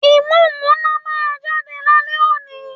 Ìmúǹmúná máa jáde lálẹ́ òní